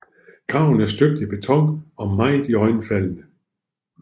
Graven er støbt i beton og meget iøjnefaldende